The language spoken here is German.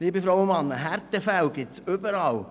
Liebe Frau und Männer, Härtefälle gibt es überall.